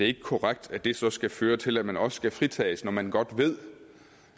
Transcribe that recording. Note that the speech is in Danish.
ikke korrekt at det så skal føre til at man også skal fritages når man godt ved